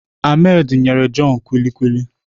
Ahmed nyere John kulikuli